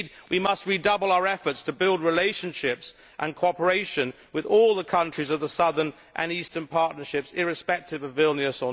Indeed, we must redouble our efforts to build relationships and cooperation with all the countries of the Southern and Eastern Partnerships, irrespective of Vilnius.